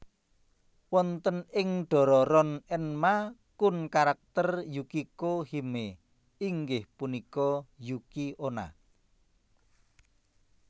Wonten ing Dororon Enma kun karakter Yukiko Hime inggih punika Yuki onna